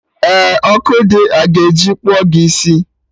Eh, ọkụ dị, a ga-eji kpụọ gị isi